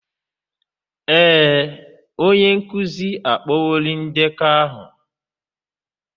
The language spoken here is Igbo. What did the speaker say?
Ee, onye nkuzi akpọworị ndekọ aha.